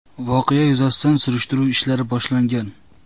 Voqea yuzasidan surishtiruv ishlari boshlangan.